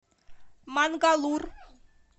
мангалур